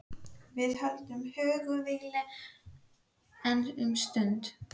Við völdum hugarvílið, enn um stund.